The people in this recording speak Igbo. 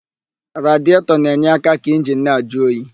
Radietọ na-enye aka ka injini na-ajụ oyi.